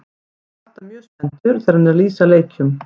Hann er alltaf mjög spenntur þegar hann er að lýsa leikjum.